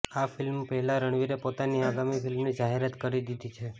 આ ફિલ્મ પહેલા રણવીરે પોતાની આગામી ફિલ્મની જાહેરાત કરી દીધી છે